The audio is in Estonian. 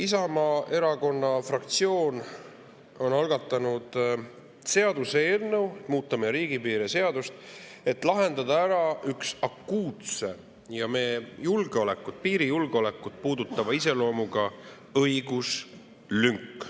Isamaa Erakonna fraktsioon on algatanud seaduseelnõu muuta meie riigipiiri seadust, et lahendada ära üks akuutse iseloomuga meie julgeolekut, piirijulgeolekut puudutav õiguslünk.